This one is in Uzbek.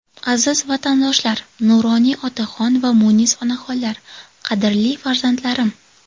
Aziz vatandoshlar, nuroniy otaxon va munis onaxonlar, qadrli farzandlarim!